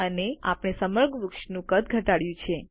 અને આપણે સમગ્ર વૃક્ષનું કદ ઘટાડ્યું છે